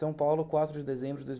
São Paulo, quatro de dezembro de dois